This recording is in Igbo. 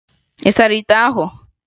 Ị sara ite ahụ?